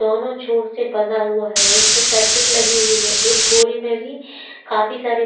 दोनों छोर से बंधा हुआ है वहीं पे सर्किट लगी हुई है एक बोरी में भी काफी सारी --